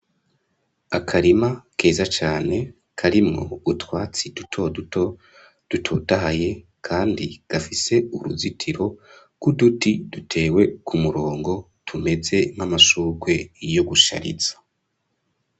Akarima keza cane karimwo utwatsi duto duto dutotahaye kandi gafise uruzitiro k'uduti duteye ku murongo tumeze nk'amashurwe yo gushariza.